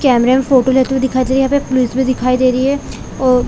कैमरे में फोटो लेते हुए दिखाई दे रहे है यहाँ पर पुलिस भी दिखाई दे रही है और